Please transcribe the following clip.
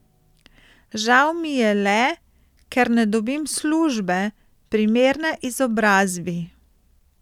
Žal mi je le, ker ne dobim službe, primerne izobrazbi.